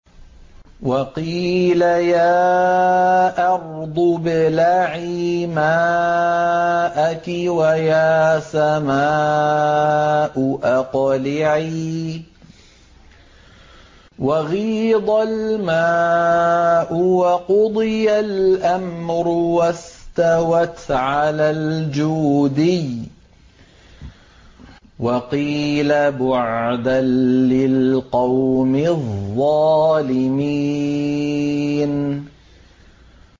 وَقِيلَ يَا أَرْضُ ابْلَعِي مَاءَكِ وَيَا سَمَاءُ أَقْلِعِي وَغِيضَ الْمَاءُ وَقُضِيَ الْأَمْرُ وَاسْتَوَتْ عَلَى الْجُودِيِّ ۖ وَقِيلَ بُعْدًا لِّلْقَوْمِ الظَّالِمِينَ